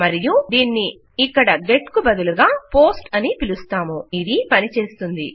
మరియు దీన్ని ఇక్కడ గెట్ కు బదులుగా పోస్ట్ అని పిలుస్తాము ఇది పనిచేస్తుంది